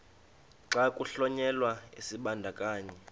xa kuhlonyelwa isibandakanyi